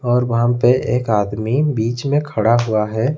और वहां पे एक आदमी बीच में खड़ा हुआ है।